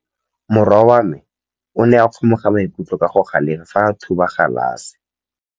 Morwa wa me o ne a kgomoga maikutlo ka go galefa fa a thuba galase.